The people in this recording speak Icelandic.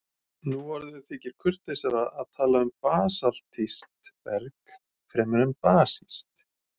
Nú orðið þykir kurteisara að tala um basaltískt berg fremur en basískt.